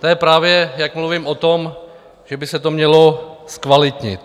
To je právě, jak mluvím o tom, že by se to mělo zkvalitnit.